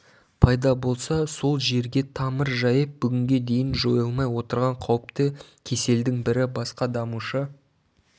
пайда болса сол жерге тамыр жайып бүгінге дейін жойылмай отырған қауіпті кеселдің бірі басқа дамушы